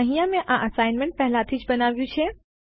અહીંયા મેં આ અસાઇનમેન્ટને પહેલાથી જ બનાવ્યું છે